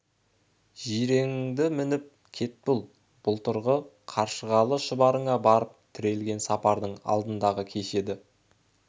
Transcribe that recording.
жиреніңді мініп кет бұл былтырғы қаршығалы шұбарына барып тірелген сапардың алдындағы кеш еді